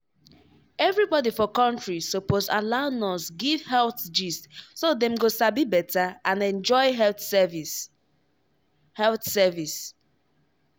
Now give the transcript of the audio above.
everybody for country suppose allow nurse give health gist so dem go sabi better and enjoy health service. health service.